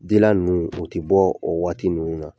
ninnu o tɛ bɔ, o waati ninnu na.